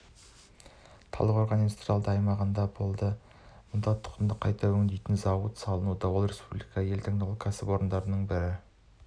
талдықорған индустриалды аймағында болды мұнда тұқымды қайта өңдейтін зауыт салынуда ол республикадағы ең таңдаулы кәсіпорындардың бірі